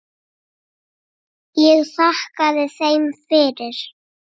Ég þakkaði þeim fyrir.